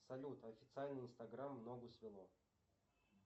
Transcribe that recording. салют официальный инстаграм ногу свело